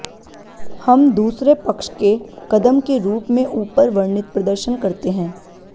हम दूसरे पक्ष के कदम के रूप में ऊपर वर्णित प्रदर्शन करते हैं